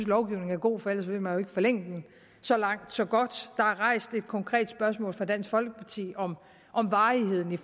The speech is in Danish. lovgivningen er god for ellers ville man jo ikke forlænge den så langt så godt der er rejst et konkret spørgsmål af dansk folkeparti om om varigheden